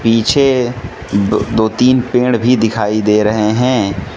पीछे दो तीन पेड़ भी दिखाई दे रहे हैं।